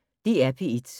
DR P1